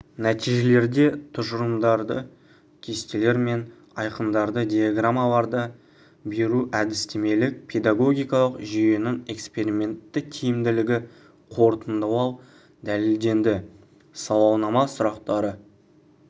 нәтижелерді тұжырымдары кестелер мен айқындалды диаграммаларда беру әдістемелік педагогикалық жүйенің экспериментті тиімділігі қорытындылау дәлелденді сауалнама сұрақтары